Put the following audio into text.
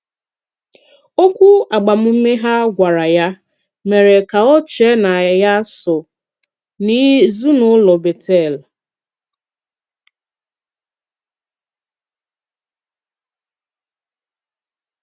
Òkwù agbàmùme ha gwàrà ya mèré ka ò chée na ya sὸ n’ezinụlọ Bétel.